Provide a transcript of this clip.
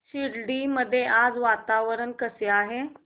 शिर्डी मध्ये आज वातावरण कसे आहे